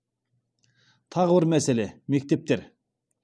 тағы бір мәселе мектептер